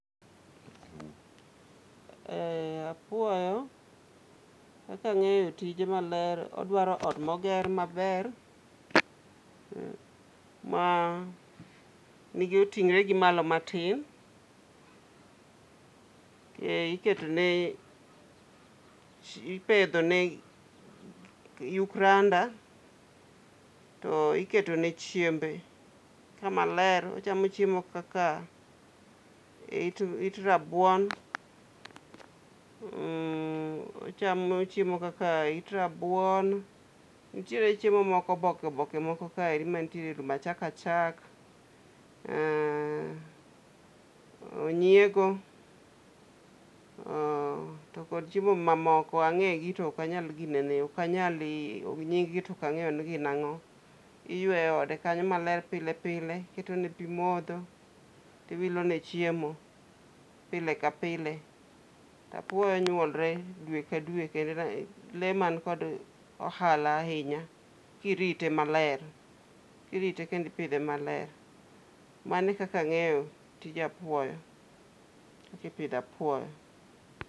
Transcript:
Apuoyo, kaka ang'eyo tije maler, odwaro ot moger maber ,ma nige oting're gimalo matin. Iketone ,ipedhone yuk randa to iketone chiembe kamaler. Ochamo chiemo kaka it rabuon. Nitiere chiemo moko oboke oboke moko kaeri manitiere lum, achak achak, onyiego to kod chiemo mamoko. Ang'egi to ok anyal ginene, ok anyal nyinggi to ok ang'eyo ni gin ang'o. Iyweyo ode kanyo maler pile pile. Iketone pi modho tiwilone chiemo pile ka pile. Apuoyo nyuolre dwe ka dwe kendo ,le man kod ohala ahinya kirite maler. Kirite kendo ipidhe maler. Mano e kaka ang'eyo tij apuoyo. Kipidho apuoyo.